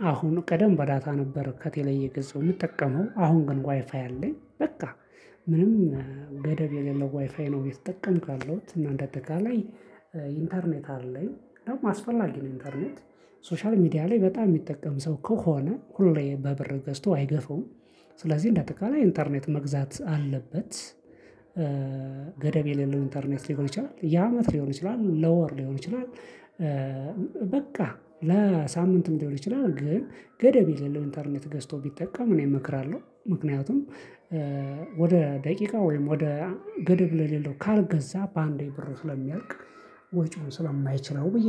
ከአሁን ቀደም በዳታ ነበር ከቴሌ እየገዛው የምጠቀመው አሁን ግን ዋይፋይ አለኝ። በቃ ምንም ገደብ የሌለው ዋይፋይ ነው እየተጠቀምኩ ያለሁት እና እንደጠቃላይ ኢንተርኔት አለኝ። ደግሞ አስፈላጊ ነው ኢንተርኔት ሶሻል ሚዲያ ላይ በጣም የሚጠቀም ሰው ከሆነ ሁሌ በብር ገዝቶ አይገፈውም። ስለዚህ እንደ አጠቃላይ ኢንተርኔት መግዛት አለበት። ገደብ የሌለው ኢንተርኔት ሊሆን ይችላል የአመት ሊሆን ይችላል ለወር ሊሆን ይችላል። በቃ ለሳምንትም ሊሆን ይችላል ግን ገደብ የለም ኢንተርኔት ገዝቶ ቢጠቀም እኔ እመክራለሁ። ምክንያቱም ወደ ደቂቃ ወይም ወደ ገደብ ለሌለው ካልገዛ በአንዴ ብሩ ስለሚያያቅ። ወጪውን ስለማይችለው ብዬ